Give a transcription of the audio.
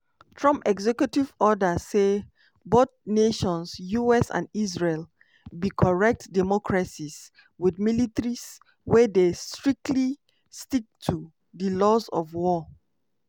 trump executive order say "both nations [us and israel] be correct democracies with militaries wey dey strictly stick to di laws of war".